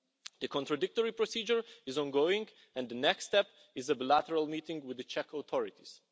The contradictory procedure is ongoing, and the next step is a bilateral meeting with the Czech authorities.